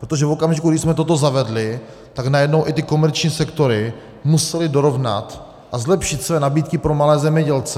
Protože v okamžiku, kdy jsme toto zavedli, tak najednou i ty komerční sektory musely dorovnat a zlepšit své nabídky pro malé zemědělce.